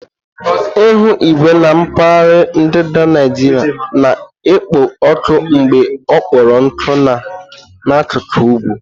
Ihu igwe na mpaghara ndịda Naijiria na-ekpo ọkụ mgbe ọ kpọrọ nkụ na n'akuku ugwu.